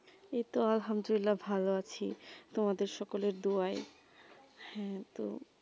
এই তো ভালো আছি তোমাদের সকলের দুআয়ে হেঁ তো